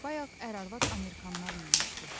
Bayaq ər-arvad amerikalılar minmişdi.